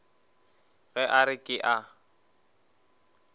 ge a re ke a